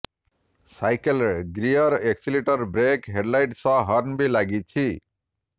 ସାଇକେଲରେ gear accelerator brake headlight ସହ horn ବି ଲାଗିଛି